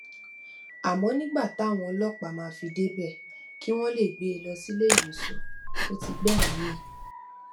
àmọ nígbà táwọn ọlọpàá máa fi débẹ kí wọn lè gbé e lọ sílé ìwòsàn ò ti gbẹmìí mì